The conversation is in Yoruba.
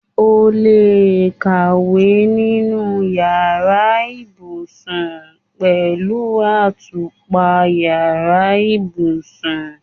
O lè kàwé nínú yàrá ibùsùn pẹ̀lú àtùpà yàrá ibùsùn.